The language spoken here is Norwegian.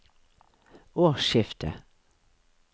årsskiftet